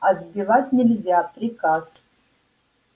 а сбивать нельзя приказ